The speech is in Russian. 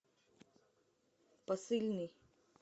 посыльный